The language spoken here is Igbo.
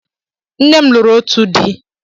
Nne m lụrụ ótù di.